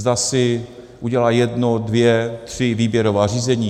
Zda si udělá jedno, dvě, tři výběrová řízení.